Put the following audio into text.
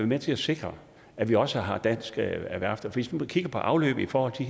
med til at sikre at vi også har danske værfter hvis man kigger på afløbet i forhold til